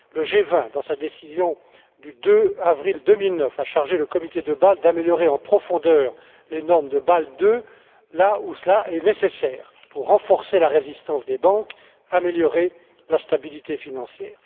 Le G20, dans sa décision du 2 avril 2009, a chargé le Comité de Bâle d'améliorer en profondeur les normes de Bâle II là où cela est nécessaire pour renforcer la résistance des banques et améliorer la stabilité financière.